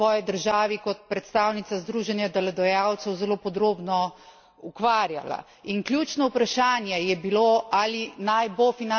S projektom finančne participacije sem se tudi sama v svoji državi kot predstavnica združenja delodajalcev zelo podrobno ukvarjala.